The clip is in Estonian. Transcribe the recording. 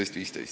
Selge!